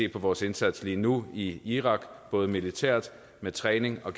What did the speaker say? vores indsats lige nu i irak både militært med træning og